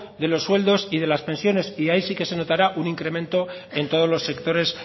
de los sueldos y de las pensiones y ahí sí que se notará un incremento en todos los sectores